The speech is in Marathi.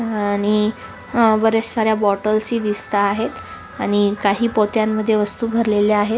अह आणि वर साऱ्या बॉटल ही दिसत आहेत आणि काही पोत्या मध्ये वस्तु भरलेल्या आहेत.